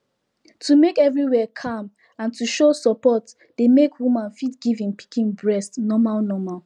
to make everywhere calm and to show support dey make woman fit give him pikin breast normal normal